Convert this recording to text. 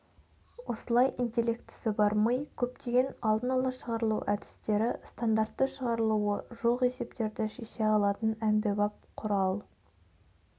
осылай интеллектісі бар ми көптеген алдын-ала шығарылу әдістері стандартты шығарылуы жоқ есептерді шеше алатын әмбебап құрал